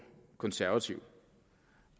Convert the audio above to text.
konservativ